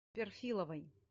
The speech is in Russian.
перфиловой